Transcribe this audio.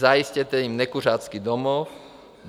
Zajistěte jim nekuřácký domov.